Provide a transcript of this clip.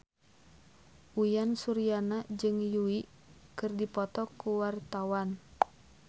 Uyan Suryana jeung Yui keur dipoto ku wartawan